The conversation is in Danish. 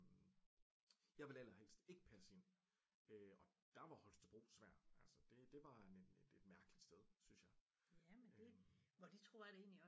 Jeg ville allerhest ikke passe ind øh og der var Holstebro svær altså det det var et mærkeligt sted synes jeg